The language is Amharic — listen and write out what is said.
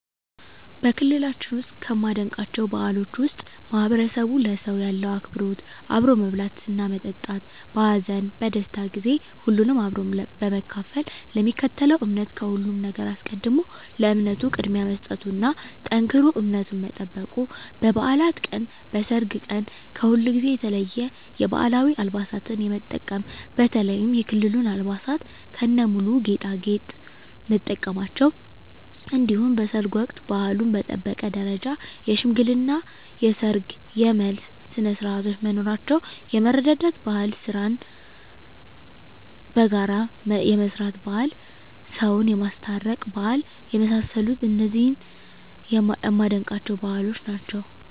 በክልላችን ውስጥ ከማደንቃቸው ባህሎች ውስጥ ማህበረሰቡ ለሰው ያለው አክብሮት አብሮ መብላትና መጠጣት በሀዘን በደስታ ጊዜ ሁሉንም አብሮ በመካፈል ለሚከተለው እምነት ከሁሉም ነገር አስቀድሞ ለእምነቱ ቅድሚያ መስጠቱና ጠንክሮ እምነቱን መጠበቁ በባዕላት ቀን በሰርግ ቀን ከሁልጊዜው የተለየ የባህላዊ አልባሳትን የመጠቀም በተለይም የክልሉን አልባሳት ከነሙሉ ጌጣጌጥ መጠቀማቸው እንዲሁም በሰርግ ወቅት ባህሉን በጠበቀ ደረጃ የሽምግልና የሰርግ የመልስ ስነስርዓቶች መኖራቸው የመረዳዳት ባህል ስራን በጋራ የመስራት ባህል ሰውን የማስታረቅ ባህል የመሳሰሉት እነዚህ የማደንቃቸው ባህሎች ናቸዉ።